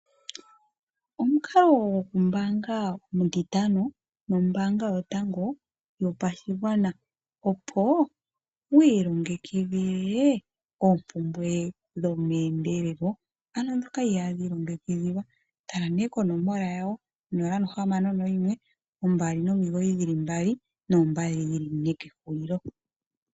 Omukalo goku ombaanga omutitano nombaanga yotango yopashigwana opo wii longekidhile oompumbwe dhomeendelelo ano ndhoka ihadhi ilongekidhilwa . Tala nee konomola yawon061299 2222.